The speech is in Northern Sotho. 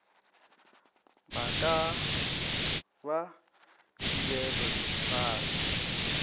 ba ka ba thibile difate